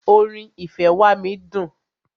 Orin "ìfẹ́ wá mí" dùn.